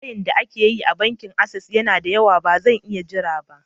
Layin da ake yi a bankin Ases yana da yawa, ba zan iya jira ba.